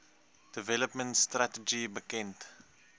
development strategy bekend